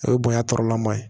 O ye bonya tɔɔrɔla man ye